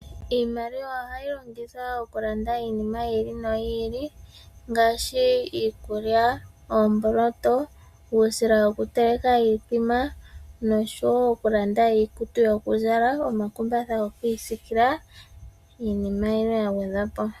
Iimaliwa ohayi longwithwa oku landa iinima yi li noyi ili ngaashi: iikulya, oomboloto , uusila wokuteleka iithima noshowo oku landa iikutu yokuzala, omakumbatha gokwiisiikila niinima ya gwedhwa po.